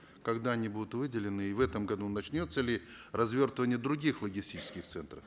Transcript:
когда они будут выделены и в этом году начнется ли развертывание других логистических центров